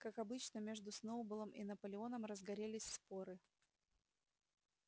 как обычно между сноуболлом и наполеоном разгорелись споры